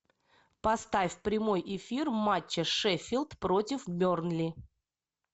поставь прямой эфир матча шеффилд против бернли